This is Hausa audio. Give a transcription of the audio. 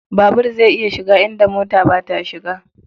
Babur zai iya shiga inda mota ba ta shiga.